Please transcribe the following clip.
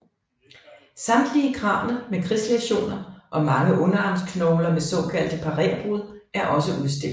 Samtlige kranier med krigslæsioner og mange underarmsknogler med såkaldte parérbrud er også udstillet